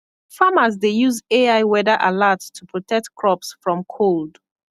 farmers dey use ai weather alert to protect crops from cold